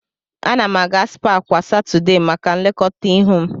Ana m aga spaa kwa Satọdee maka nlekọta ihu m.